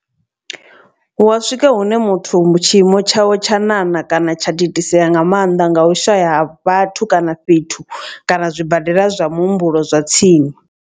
Hu a swika hune muthu tshiimo tshawe tsha ṋaṋa kana tsha thithisea nga maanḓa nga u shaya ha vhathu kana fhethu kana zwibadela zwa muhumbulo zwa tsini.